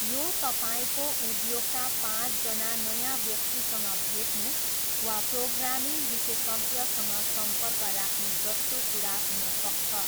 यो तपाईँको उद्योगका पाँचजना नयाँ व्यक्तिसँग भेट्नु वा प्रोग्रामिङ विशेषज्ञसँग सम्पर्क राख्नु जस्तो कुरा हुन सक्छ।